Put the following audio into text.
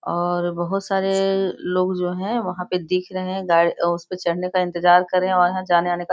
और बहुत सारे लोग जो है वहाँ पे दिख रहे है उसपे चढ़ने का इंतजार कर रहे है और वहाँ जाने-आने का ।